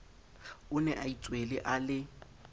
o nea itswele a le